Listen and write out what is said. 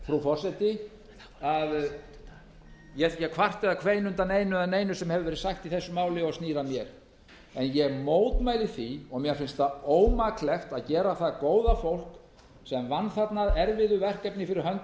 frú forseti að ég er ekki að kvarta eða kveina undan einu eða neinu sem hefur verið sagt í þessu máli og snýr að mér en ég mótmæli því og mér finnst ómaklegt að gera að góða fólk sem vann þarna að erfiðu verkefni fyrir hönd